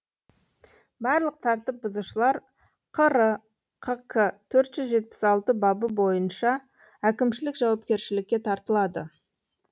барлық тәртіп бұзушылар қр қк төрт жүз жетпіс алтыншы бабы бойынша әкімшілік жауапкершілікке тартылады